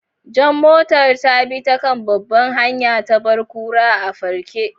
Jan motar ta bi ta kan babbar hanya, ta bar kura a farke.